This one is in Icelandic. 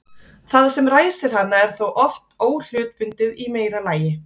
það sem ræsir hana er þá oft óhlutbundið í meira lagi